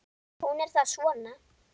Hún er þá svona!